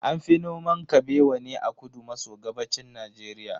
An fi noman Kabewa ne a kudu maso gabashin Najeriya.